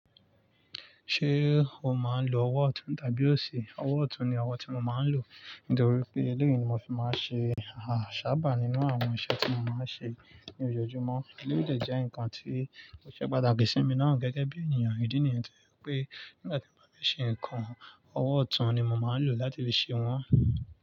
Ṣé o máa ń lo ọwọ́ ọ̀tún tàbí òsì? Ọwọ́ ọ̀tún ni ọwọ́ tí mo máa ń lò, nítorí pé eléyìí ni mo fi máa ń ṣe àṣàbà nínú àwọn iṣẹ́ tí mo máa ń ṣe ní ojoojúmọ́. Eléyìí lè jẹ́ ǹkan tí kò ṣe pàtàkì sí mi náà gẹ́gẹ́ bí ènìyàn ìdí nìyẹn tí pé nígbà tí mo bá ṣe ǹkan, ọwọ́ ọ̀tún ni mo máa ń lò láti fi ṣe wọ́n.